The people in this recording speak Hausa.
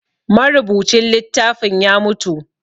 Marubucin littafin ya mutu